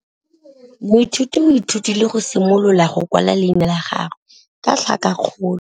Moithuti o ithutile go simolola go kwala leina la gagwe ka tlhakakgolo.